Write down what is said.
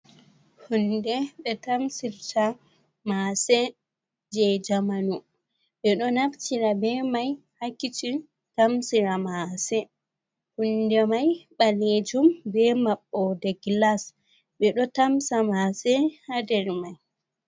Huunde ɓe tamsirta maase je jamanu, ɓe ɗo naftira be mai haa kishin tamsira maase, hunde mai ɓaleejum be maɓɓoode gilas, ɓe ɗo tamsa maase Haa nder mai.